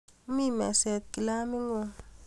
Mi meset kilamit ng'ung'